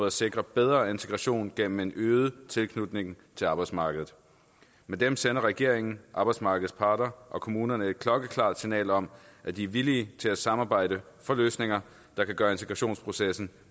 at sikre bedre integration gennem en øget tilknytning til arbejdsmarkedet med dem sender regeringen arbejdsmarkedets parter og kommunerne et klokkeklart signal om at de er villige til at samarbejde for løsninger der kan gøre integrationsprocessen